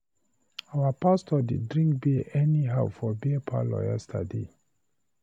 Our pastor dey drink bear anyhow for beer parlor yesterday.